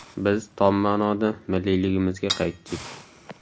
Biz tom ma’noda millliyligimizga qaytdik.